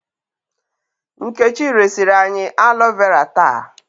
Nkechi resiri anyị alo vera taa.